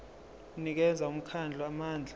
unikeza umkhandlu amandla